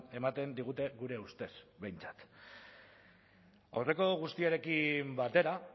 ematen digute gure ustez behintzat aurreko guztiarekin batera